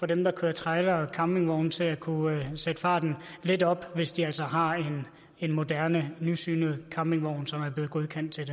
dem der kører trailere og campingvogne til at kunne sætte farten lidt op hvis de altså har en moderne nysynet campingvogn som er blevet godkendt til